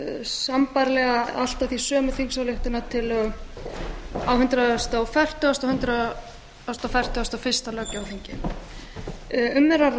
sambærilega eða allt að því sömu þingsályktunartillögu á hundrað fertugasta og hundrað fertugasta og fyrsta löggjafarþingi um er